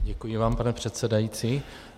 Děkuji vám, pane předsedající.